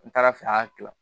N taara fɛ a y'a kila